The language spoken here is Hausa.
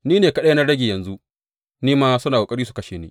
Ni ne kaɗai na rage, yanzu, ni ma suna ƙoƙari su kashe ni.